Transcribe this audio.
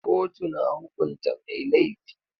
Kotu na hukunta mai laifi.